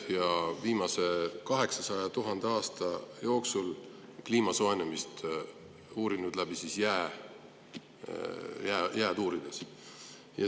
Nad on viimase 800 000 aasta kliima soojenemist uurinud jääd uurides.